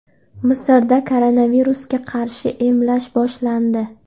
Misrda koronavirusga qarshi emlash boshlandi.